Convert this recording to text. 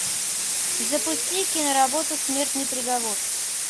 запусти киноработу смертный приговор